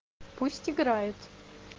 пусть играет